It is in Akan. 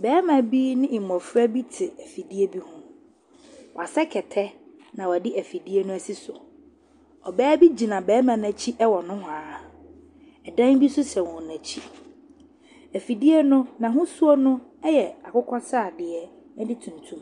Barima bi ne mmofra bi te afidie bi ho. Wasɛ kɛtɛ na ɔde afidie no esi so. Ɔbaa bi gyina barima n'akyi ɛwɔ nohoaa. Ɛdan bi nso si wɔn akyi. Afidie no, n'ahosuo no ɛyɛ akokɔsrade ɛne tuntum.